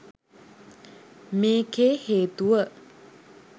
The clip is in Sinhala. මේකේ හේතුව